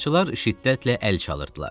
Tamaşaçılar şiddətlə əl çalırdılar.